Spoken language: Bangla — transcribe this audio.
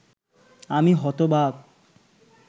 আমি হতবাক!